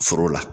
Foro la